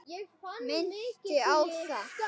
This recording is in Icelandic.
Minnti á það.